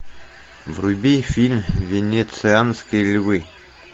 вруби фильм венецианские львы